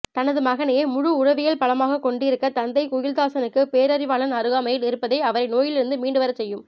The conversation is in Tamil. தனது மகனையே முழு உளவியல் பலமாகக் கொண்டிருக்கிற தந்தை குயில்தாசனுக்குத் பேரறிவாளன் அருகாமையில் இருப்பதே அவரை நோயிலிருந்து மீண்டுவரச் செய்யும்